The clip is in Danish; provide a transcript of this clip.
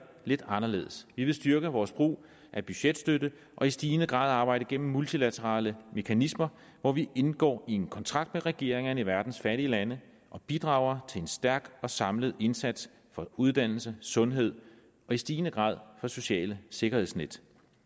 lidt anderledes vi vil styrke vores brug af budgetstøtte og i stigende grad arbejde igennem multilaterale mekanismer hvor vi indgår en kontrakt med regeringerne i verdens fattige lande og bidrager til en stærk og samlet indsats for uddannelse sundhed og i stigende grad sociale sikkerhedsnet